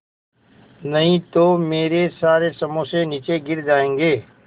नहीं तो मेरे सारे समोसे नीचे गिर जायेंगे